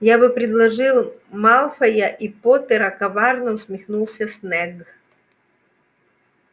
я бы предложил малфоя и поттера коварно усмехнулся снегг